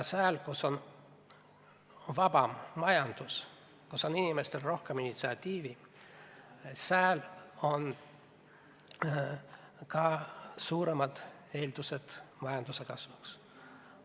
Seal, kus on vabam majandus ja kus inimestel on rohkem initsiatiivi, seal on ka suuremad eeldused majanduse kasvuks.